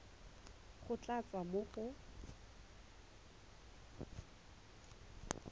go tla tswa mo go